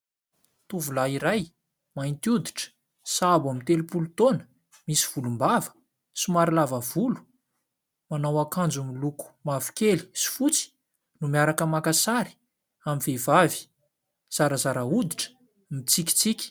Tovolahy iray mainty oditra sahabo amin'ny telom-polo taona, misy volombava, somary lava volo manao akanjo miloko mavo kely sy fotsy no miaraka makasary amin'ny vehivavy zarazara oditra mitsikitsiky.